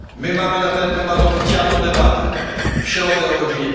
Mamy na ten temat oficjalną debatę w środę o godz.